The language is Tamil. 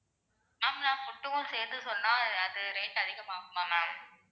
ஆமா ma'am நான் food க்கும் சேர்த்து சொன்னா அது rate அதிகமாகுமா ma'am